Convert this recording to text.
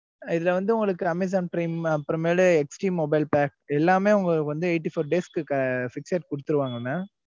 இதுல வந்து உங்களுக்கு amazon prime அப்புறமேலு HDmobile pack எல்லாமே உங்களுக்கு வந்து eighty four days க்கு fixed குடுத்துருவாங்க mam